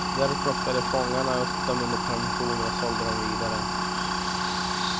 Där plockade fångarna upp dem under permissioner och sålde dem vidare.